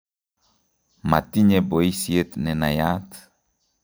Matinye boisiet nenayat